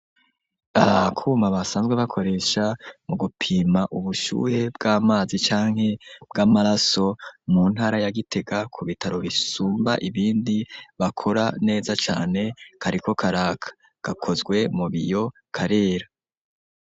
Akuma basanzwe bakoresha mu gupima ubushuhe bw'amazi canke bw'amaraso mu ntara ya Gitega ku bitaro bisumba ibindi bakora neza cane kariko karaka ,gakozwe mu biyo karera.